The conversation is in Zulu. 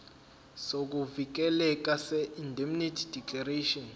sokuvikeleka seindemnity declaration